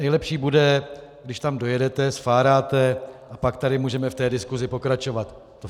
Nejlepší bude, když tam dojedete, sfáráte, a pak tady můžeme v té diskusi pokračovat.